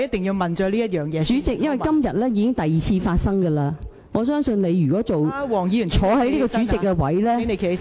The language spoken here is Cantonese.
代理主席，因為這已是今天第二次發生的了，我相信如果你出任主席這位置......